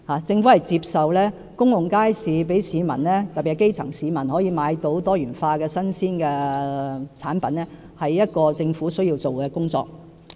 政府接受興建公共街市可讓市民，特別是基層市民，購買到多元化的新鮮產品，是政府需要做的工作。